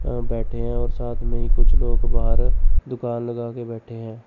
अ बैठे हैं और साथ में ही कुछ लोग बाहर दुकान लगा के बैठे हैं।